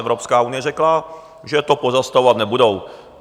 Evropská unie řekla, že to pozastavovat nebudou.